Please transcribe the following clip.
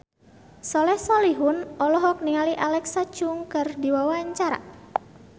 Soleh Solihun olohok ningali Alexa Chung keur diwawancara